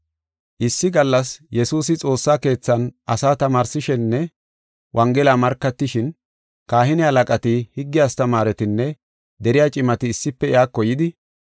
Issi gallas Yesuusi xoossa keethan asaa tamaarsishininne Wongela markatishin, kahine halaqati, higge astamaaretinne deriya cimati issife iyako yidi,